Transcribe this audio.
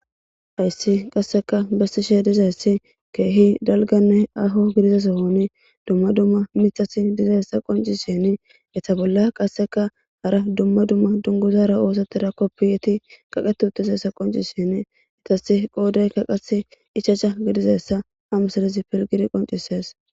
hayssi qasseka bessishe dizayssi keehi dalganne aho gidizasohon dumma dumma mithasi dizayssa qonci shini etha bolla qasseka hara dumma dumma dunguzara oosattira koppiyeti kaqeti uttizessa qonci shin itasi qoodey kaqasi ichacha gidizassa hamsadizi pilgidi qoncisees